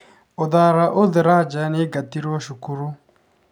Uthara Uthraja nĩ aingatirũo cukuru.